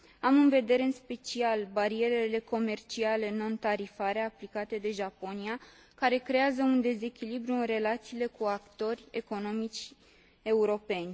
Am în vedere în special barierele comerciale netarifare aplicate de Japonia, care creează un dezechilibru în relațiile cu actori economici europeni.